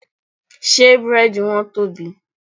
Ṣé Búrẹ́dì wọn tóbi?